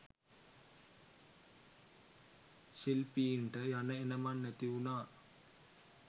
ශිල්පීන්ට යන එනමං නැතිවුණා